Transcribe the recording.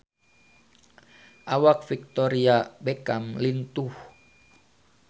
Awak Victoria Beckham lintuh